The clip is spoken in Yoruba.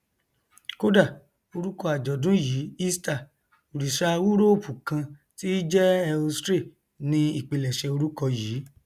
kódà orúkọ àjọdún yìí easter òrìṣà úróòpù kan tí í jẹ ēostre ni ìpilẹṣẹ orúkọ yìí